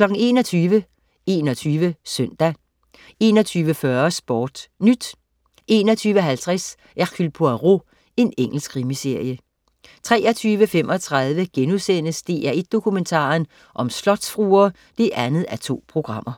21.00 21 Søndag 21.40 SportNyt 21.50 Hercule Poirot. Engelsk krimiserie 23.35 DR1 Dokumentaren: Slotsfruer 2:2*